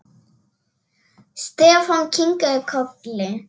Stefán kinkaði kolli.